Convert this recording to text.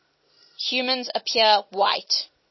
humans appear white